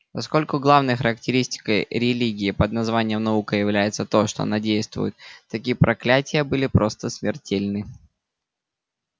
поскольку главной характеристикой религии под названием наука является то что она действует такие проклятия были просто смертельны